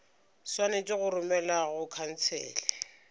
swanetše go romelwa go khansele